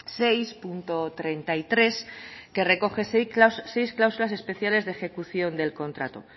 seis punto treinta y tres que recoge seis clausulas especiales de ejecución del contrato